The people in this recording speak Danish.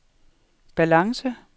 balance